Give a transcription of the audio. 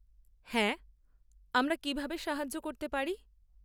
হ্যাঁ, আমরা কীভাবে সাহায্য করতে পারি?